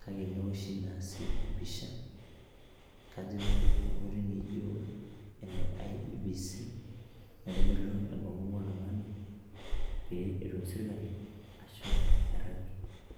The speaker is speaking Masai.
kake neoshi naa sii empisha kajo enkoitoi naijo ene IEBC naitodolu enkomom oltung'ani pee etum sirkali ashomo airragie.